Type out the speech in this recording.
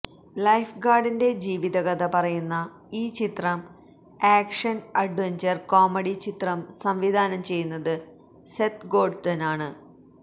life ഗാര്ഡിന്റെ ജീവിതകഥ പറയുന്ന ഈ ചിത്രം ആക്ഷന് അഡ്വഢ്ചര് കോമഡി ചിത്രം സംവിധാനം ചെയ്യുന്നത് സെത്ത് ഗോര്ഡനാണ്